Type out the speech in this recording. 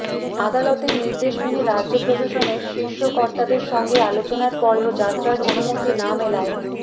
আদালতের নির্দেশ মেনে রাজ্য প্রশাসনের শীর্ষকর্তাদের সঙ্গে আলোচনার পরেও যাত্রার অনুমতি না মেলায়